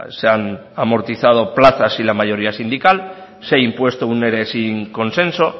se han amortizado plazas sin la mayoría sindical se ha impuesto un ere sin consenso